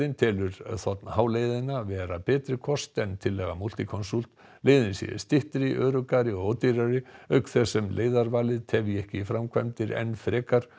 telur þ h leiðina vera betri kost en tillaga Multiconsult leiðin sé styttri öruggari og ódýrari auk þess sem leiðarvalið tefja framkvæmdir enn frekar